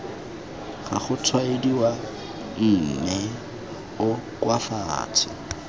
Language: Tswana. ga gotshwaediwa mme o koafatse